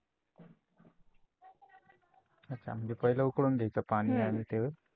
अछा जे पहिले उकळून घ्यायचं पाणी हम्म आणि ते?